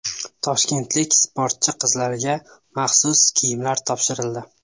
Toshkentlik sportchi qizlarga maxsus kiyimlar topshirildi.